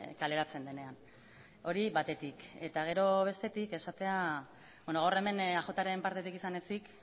kaleratzen denean hori batetik eta gero bestetik esatea gaur hemen eajren partetik izan ezik